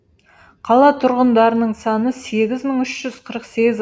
қала тұрғындарының саны сегіз мың үш жүз қырық сегіз